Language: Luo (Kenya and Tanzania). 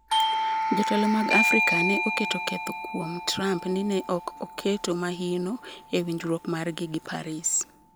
Jotelo mag Afrika ne oketo ketho kuom Trump ni ne ok oketo mahino e winjruok margi gi Paris